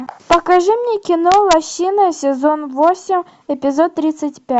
покажи мне кино лощины сезон восемь эпизод тридцать пять